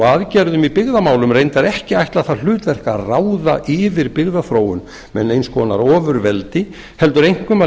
aðgerðum í byggðamálum ekki ætlað það hlutverk að ráða yfir byggðaþróun með neins konar ofurveldi heldur einkum að